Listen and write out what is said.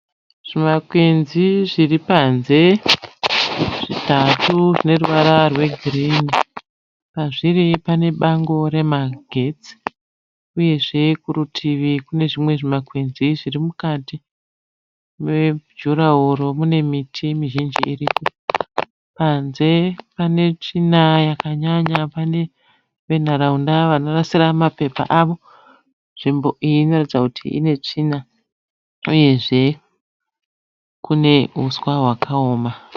Zvimakwenzi zviripanze zvitatu zvineruvara rwe girini. Pazviri panebango remagetsi uyezve kuritivi kunezvimwe zvimakwenzi zvirimukati mejuraworo munemiti mizhinji irimo. Panze panetsvina yakanyanya pane venharaunda vanorasira mapepa avo. Nzvimbo iyi inoratidza kuti inetsvina uyezve kune uswa hwakaoma.